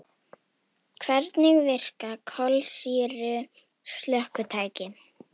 Hvernig virka kolsýru slökkvitæki?